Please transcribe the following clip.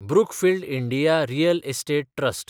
Brookfield India real estate trust